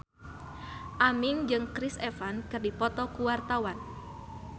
Aming jeung Chris Evans keur dipoto ku wartawan